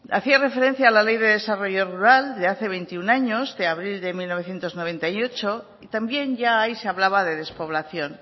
hacía referencia a la ley de desarrollo rural de hace veintiuno años de abril de mil novecientos noventa y ocho y también ya ahí se hablaba de despoblación